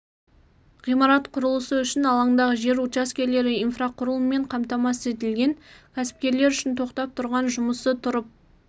ғимарат құрылысы үшін алаңдағы жер учаскелері инфрақұрылыммен қамтамасыз етілген кәсіпкерлер үшін тоқтап тұрған жұмысы тұрып